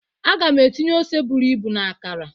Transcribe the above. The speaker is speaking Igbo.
Aga m etinye ose buru ibu na akara